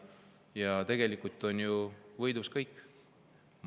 Ja tegelikult võidavad ju kõik.